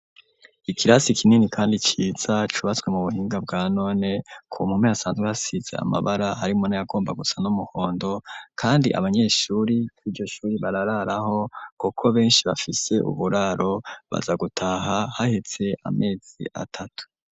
Ikirasi kinini kandi ciza, cubatswe mu buhinga bwa none, ku mpome hasanzwe hasize amabara, harimwo n'ayagomba gusa n'umuhondo, kandi abanyeshuri kw'iryo shuri barararaho kuko benshi bafise uburaro; baza gutaha haheze amezi atatu.